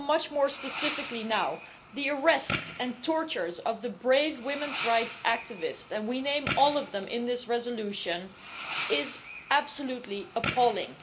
More specifically, now, the arrests and torture of the brave women's rights activists and we name all of them in this resolution are absolutely appalling.